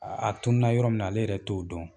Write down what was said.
a tunu na yɔrɔ min na ale yɛrɛ t'o dɔn.